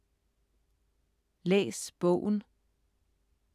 Læs bogen